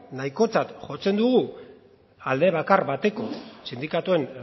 nahikotzat jotzen dugu alde bakar bateko sindikatuen